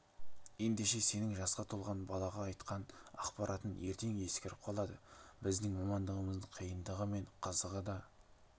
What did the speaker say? ендеше сенің жасқа толған балаға айтқан ақпаратың ертең ескіріп қалады біздің мамандығымыздың қиындығы мен қызығы да